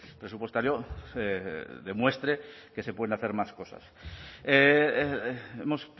presupuestario demuestre que se pueden hacer más cosas hemos